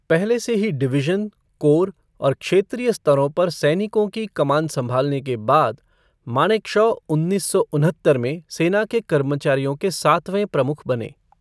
पहले से ही डिवीज़न, कोर और क्षेत्रीय स्तरों पर सैनिकों की कमान संभालने के बाद, मानेकशॉ उन्नीस सौ उनहत्तर में सेना के कर्मचारियों के सातवें प्रमुख बने।